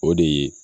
O de ye